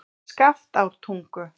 Skaftártungu